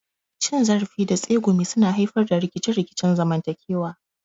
Cin zarafi da tsegumi suna haifar da rikice-rikicen zamantakewa.